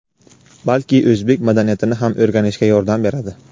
balki o‘zbek madaniyatini ham o‘rganishga yordam beradi.